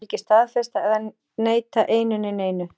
Ég vil ekki staðfesta eða neita einu né neinu.